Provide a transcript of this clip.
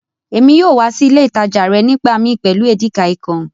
Èmi yóò wa si ilé ìtàjà rẹ nígbàmii pẹ́lu Edikaikong.